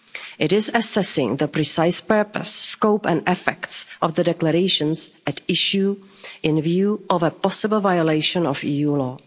acquis It is assessing the precise purpose, scope and effects of the declarations at issue in view of a possible violation of